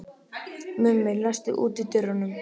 Mummi, læstu útidyrunum.